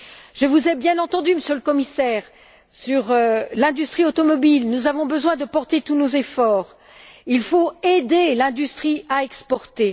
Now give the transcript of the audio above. Je vous ai bien entendu, Monsieur le Commissaire, sur l'industrie automobile, où nous avons besoin de porter tous nos efforts. Il faut aider l'industrie à exporter.